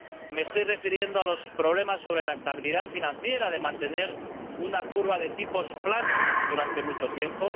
me estoy refiriendo a los problemas que supone para la estabilidad financiera mantener una curva de tipos planos durante mucho tiempo